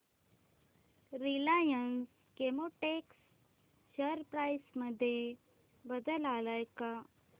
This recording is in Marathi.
रिलायन्स केमोटेक्स शेअर प्राइस मध्ये बदल आलाय का